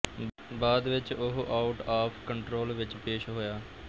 ਬਾਅਦ ਵਿਚ ਉਹ ਆਊਟਆਫ ਕੰਟਰੋਲ ਵਿਚ ਪੇਸ਼ ਹੋਇਆ